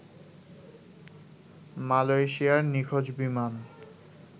মালয়েশিয়ার নিখোঁজ বিমান